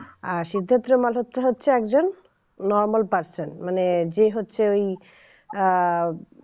আর সিদ্ধার্থ মালহোত্রা হচ্ছে একজন normal person মানে যে হচ্ছে ওই আহ